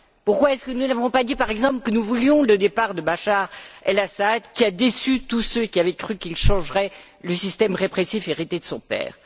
Pourquoi est ce que nous n'avons pas dit, par exemple, que nous voulions le départ de Bachar el Assad, qui a déçu tous ceux qui avaient cru qu'il changerait le système répressif hérité de son père?